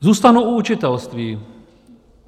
Zůstanu u učitelství.